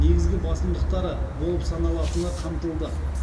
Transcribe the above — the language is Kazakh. негізгі басымдықтары болып саналатыны қамтылды